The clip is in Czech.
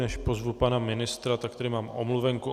Než pozvu pana ministra, tak tady mám omluvenku.